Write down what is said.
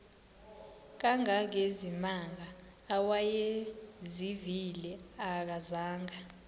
kangangezimanga awayezivile akazanga